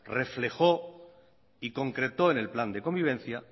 reflejó y concretó en el plan de convivencia